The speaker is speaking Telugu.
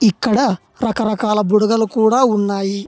ఇక్కడ రకరకాల బుడగలు కూడా ఉన్నాయి.